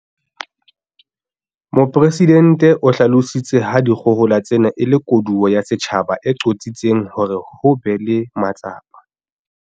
Mopresidente o hlalositse ha dikgohola tsena e le koduwa ya setjhaba e qositseng hore ho be le matsapa